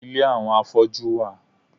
Ile àwọn afọ́jú wà.